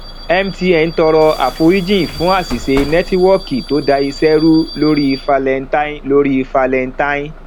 mtn tọrọ àforíjì fún àṣìṣe nẹtiwọọki tó da iṣẹ rú lórí valentine lórí valentine